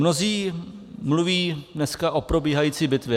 Mnozí mluví dneska o probíhající bitvě.